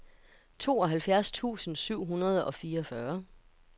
tooghalvfjerds tusind syv hundrede og fireogfyrre